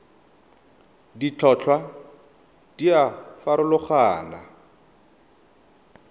ditlhotlhwa di a farologana go